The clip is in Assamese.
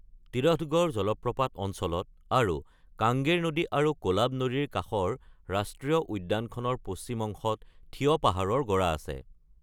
তিৰথগড় জলপ্ৰপাত অঞ্চলত আৰু কাংগেৰ নদী আৰু কোলাব নদীৰ কাষৰ ৰাষ্ট্ৰীয় উদ্যানখনৰ পশ্চিম অংশত থিয় পাহাৰৰ গৰা আছে।